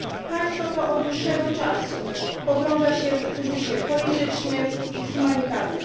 Państwo to od dłuższego czasu pogrąża się w kryzysie politycznym i humanitarnym.